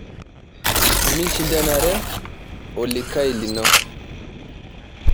Mishindanare olikae lino.